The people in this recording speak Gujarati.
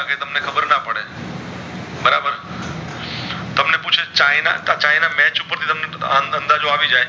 ચાઇના match ઉપર થી બધો અંદાજો આવી જય છે